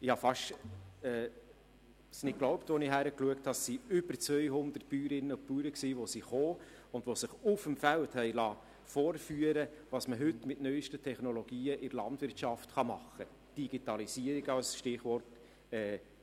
Ich konnte es fast nicht glauben, als ich sah, dass über 200 Bäuerinnen und Bauern gekommen waren, um sich auf dem Feld vorführen zu lassen, was heute mit neusten Technologien in der Landwirtschaft machbar ist – «Digitalisierung» als Stichwort,